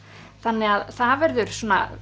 þannig að það verður